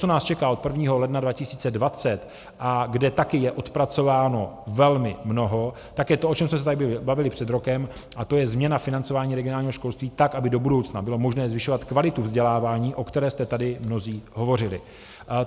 Co nás čeká od 1. ledna 2020 a kde taky je odpracováno velmi mnoho, tak je to, o čem jsme se tady bavili před rokem, a to je změna financování regionálního školství tak, aby do budoucna bylo možné zvyšovat kvalitu vzdělávání, o které jste tady mnozí hovořili.